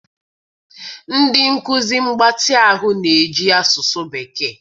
ndị nkuzi mgbatị ahụ na-eji asụsụ bekee.